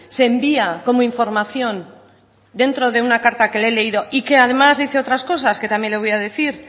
se envía como información dentro de una carta que le he leído y que además dice otras cosas que también le voy a decir